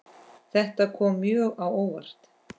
Þetta kom mjög á óvart.